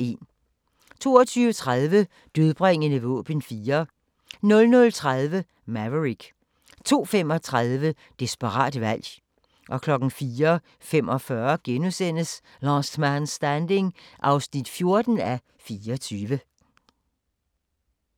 22:30: Dødbringende våben 4 00:30: Maverick 02:35: Desperat valg 04:45: Last Man Standing (14:24)*